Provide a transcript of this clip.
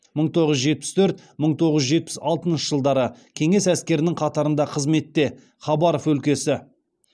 мың тоғыз жүз жетпіс төрт мың тоғыз жүз жетпіс алтыншы жылдары кеңес әскерінің қатарында қызметте хабаров өлкесі